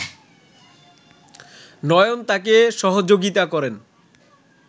নয়ন তাকে সহযোগিতা করেন